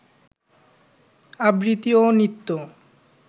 আবৃত্তি ও নৃত্য